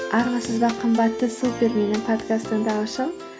армысыздар қымбатты супер менің подкаст тыңдаушым